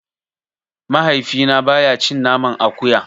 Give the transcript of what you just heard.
Mahaifina baya cin naman akuya.